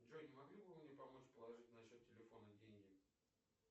джой не могли бы вы мне помочь положить на счет телефона деньги